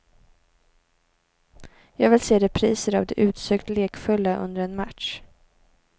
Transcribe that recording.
Jag vill se repriser av det utsökt lekfulla under en match.